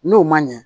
N'o ma ɲɛ